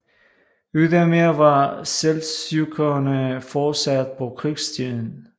Ydermere var seldsjukkerne fortsat på krigsstien